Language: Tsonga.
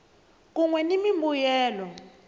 kun we ni mimbuyelo